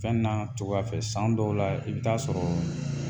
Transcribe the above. Fɛn n'a cogoya fɛ san dɔw la i bɛ taa sɔrɔ